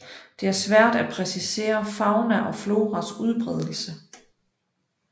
Det er svært at præcisere fauna og floras udbredelse